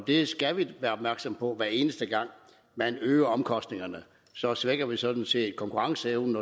det skal vi være opmærksomme på hver eneste gang man øger omkostningerne så svækker vi sådan set konkurrenceevnen